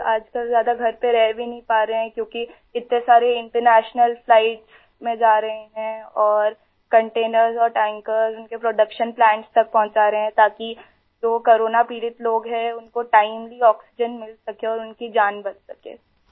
وہ آج کل زیادہ گھر پر نہیں رہ پا رہے ہیں کیونکہ اتنی ساری بین الاقوامی پروازوں میں جا رہے ہیں اور کنٹینر اور ٹینکر ، اُن کے پروڈکشن پلانٹ تک پہنچا رہے ہیں تاکہ جو لوگ کورونا سے متاثر ہیں ، اُن کو وقت پر آکسیجن مل سکے اور اُن کی جان بچ سکے